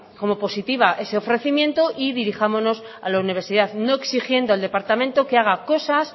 como positivo ese ofrecimiento y dirijámonos a la universidad no exigiendo al departamento que haga cosas